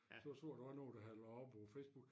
Så så jeg der var nogen der havde lagt op på Facebook